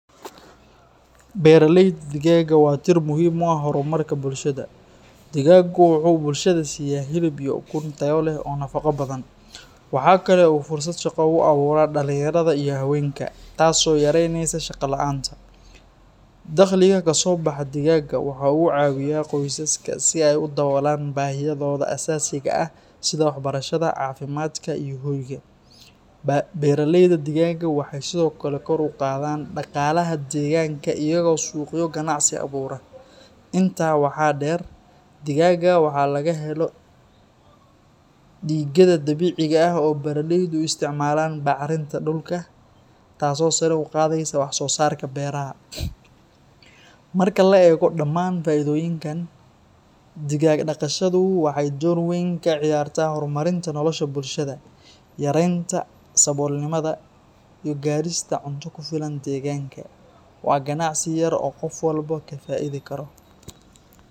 Beeraleyda digaagga waa tiir muhiim u ah horumarka bulshada. Digaaggu wuxuu bulshada siiya hilib iyo ukun tayo leh oo nafaqo badan. Waxa kale oo uu fursad shaqo u abuuraa dhalinyarada iyo haweenka, taasoo yaraynaysa shaqo la'aanta. Dakhliga ka soo baxa digaagga waxa uu caawiyaa qoysaska si ay u daboolaan baahiyahooda aasaasiga ah sida waxbarashada, caafimaadka iyo hoyga. Beeraleyda digaagga waxay sidoo kale kor u qaadaan dhaqaalaha deegaanka iyaga oo suuqyo ganacsi abuura. Intaa waxaa dheer, digaagga waxa laga helo digada dabiiciga ah oo beeraleydu u isticmaalaan bacrinta dhulka, taasoo sare u qaadaysa wax-soosaarka beeraha. Marka la eego dhammaan faa'iidooyinkan, digaag dhaqashadu waxay door weyn ka ciyaartaa horumarinta nolosha bulshada, yareynta saboolnimada, iyo gaadhista cunto ku filan deegaanka. Waa ganacsi yar oo qof walba ka faa’iidi karo.